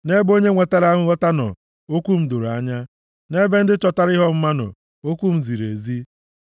Nʼebe onye nwetara nghọta nọ, okwu m doro anya; nʼebe ndị chọtara ihe ọmụma nọ, okwu m ziri ezi.